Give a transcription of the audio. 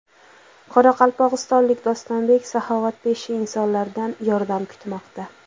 Qoraqalpog‘istonlik Dostonbek saxovatpesha insonlardan yordam kutmoqda.